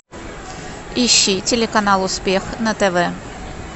ищи телеканал успех на тв